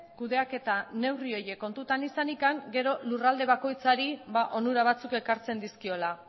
kudeaketa neurri horiek kontutan izanik gero lurralde bakoitzari onura batzuk ekartzen dizkiola